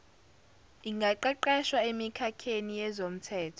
ingaqeqeshwa emikhakheni yezomthetho